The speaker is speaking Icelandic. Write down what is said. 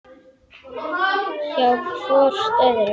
Hjá hvort öðru.